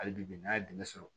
Hali bi n'a ye dɛmɛ sɔrɔ